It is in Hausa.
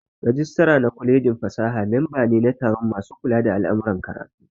Rajistira na kwalejin fasaha memba ne na taron masu kula da al'amuran karatu